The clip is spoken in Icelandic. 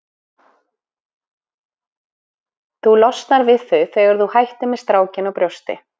Þú losnar við þau þegar þú hættir með strákinn á brjósti.